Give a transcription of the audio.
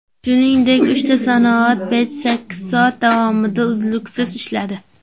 Shuningdek, uchta sanoat pechi sakkiz soat davomida uzluksiz ishladi.